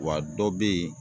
Wa dɔ bɛ yen